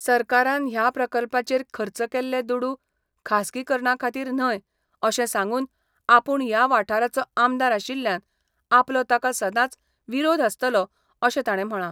सरकारान ह्या प्रकल्पाचेर खर्च केल्ले दुडू खासगी करणा खातीर न्हय अशें सांगून आपुण या वाठाराचो आमदार आशिल्ल्यान आपलो ताका सदांच विरोध आसतलो अशें ताणें म्हळा.